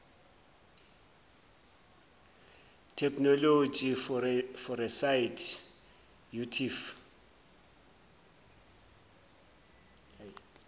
technology foresight urtf